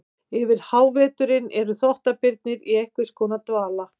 Yfir háveturinn eru þvottabirnir í einhvers konar dvala.